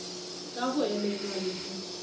ka go elelwa le go